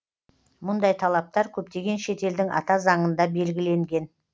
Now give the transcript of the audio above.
мұндай талаптар көптеген шет елдің ата заңында белгіленген